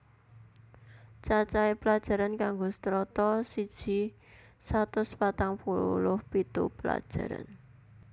Cacahe pelajaran kanggo Strata siji satus patang puluh pitu pelajaran